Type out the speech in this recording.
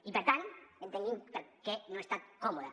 i per tant entenguin per què no he estat còmode